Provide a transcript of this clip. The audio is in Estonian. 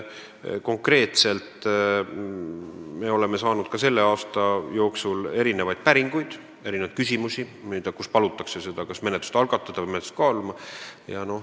Me oleme saanud selle aasta jooksul ka päringuid, küsimusi, kus palutakse kas menetlust algatada või kaaluda.